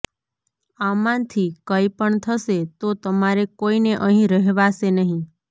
આમાંથી કંઈ પણ થશે તો તમારે કોઈને અહીં રહેવાશે નહીં